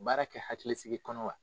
baara kɛ hakilisigi kɔnɔ wa